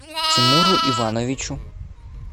тимуру ивановичу